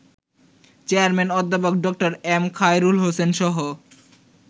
Chairman অধ্যাপক Dr. M Khairul হোসেনসহ